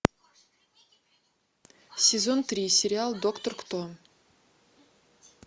сезон три сериал доктор кто